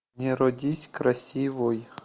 не родись красивой